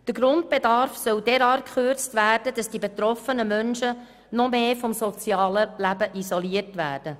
Der Grundbedarf soll derart gekürzt werden, dass die betroffenen Menschen noch stärker vom sozialen Leben isoliert werden.